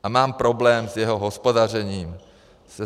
A mám problém s jeho hospodařením.